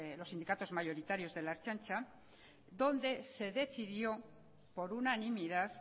los sindicatos mayoritarios de la ertzaintza donde se decidió por unanimidad